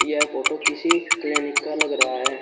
यह फोटो किसी क्लिनिक का लग रहा है।